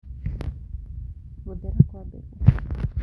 Gũthera Kwa mbegũ